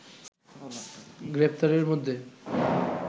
গ্রেপ্তারদের মধ্যে